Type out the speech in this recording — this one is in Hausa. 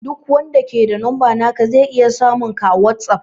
Duk wanda ke da numba naka zai iya samun ka a whatsapp